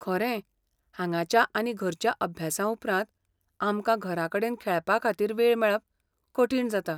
खरें, हांगाच्या आनी घरच्या अभ्यासाउपरांत, आमकां घराकडेन खेळपाखातीर वेळ मेळप कठीण जाता.